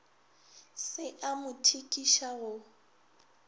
se a mo thikiša go